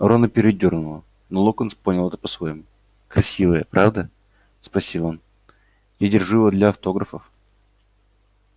рона передёрнуло но локонс понял это по-своему красивое правда спросил он я держу его для автографов